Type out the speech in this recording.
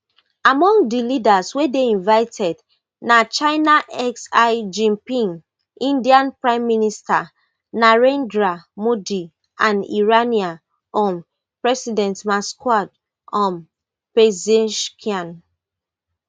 among di leaders wey dey invited na china xi jinping indian prime minister narendra modi and iranian um president masoud um pezeshkian